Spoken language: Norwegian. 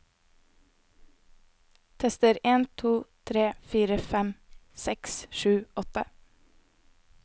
Tester en to tre fire fem seks sju åtte